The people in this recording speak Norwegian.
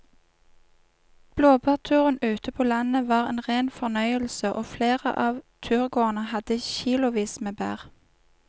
Blåbærturen ute på landet var en rein fornøyelse og flere av turgåerene hadde kilosvis med bær.